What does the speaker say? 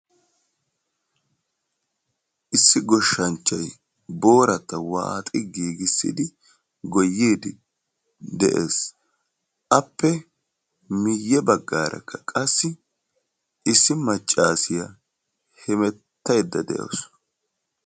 issi goshanchchay waaxi giigisidi goyiidi des, appe guye bagaarakka qassi issi macaasiya hemetaydda de'awusu.